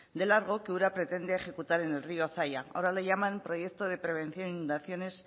de largo que ura pretende ejecutar en el río zaia ahora le llaman proyecto de prevención de inundaciones